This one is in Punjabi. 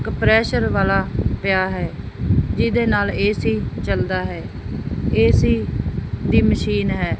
ਕੰਪਰੈਸਰ ਵਾਲਾ ਪਿਆ ਹੈ ਜਿਹਦੇ ਨਾਲ ਏ_ਸੀ ਚੱਲਦਾ ਹੈ ਏ_ਸੀ ਦੀ ਮਸ਼ੀਨ ਹੈ।